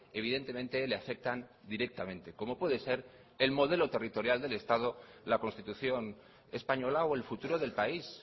evidentemente le afectan directamente como puede ser el modelo territorial del estado la constitución española o el futuro del país